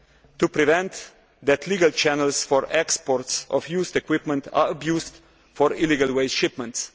to prevent legal channels for exports of used equipment being abused for illegal waste shipments.